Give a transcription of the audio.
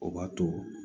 O b'a to